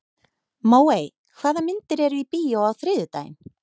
Móey, hvaða myndir eru í bíó á þriðjudaginn?